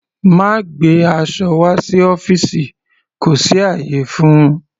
Má gbé aṣọ wá sí ọ́fìsì kò sí ayé fún-un.